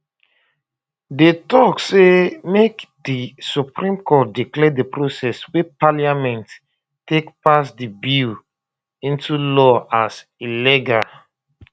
dey tok um say make di um supreme court declare di process wey parliament take pass di bill into law as illegal